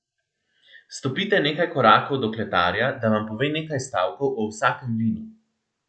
Stopite nekaj korakov do kletarja, da vam pove nekaj stavkov o vsakem vinu!